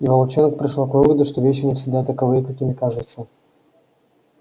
и волчонок пришёл к выводу что вещи не всегда таковы какими кажутся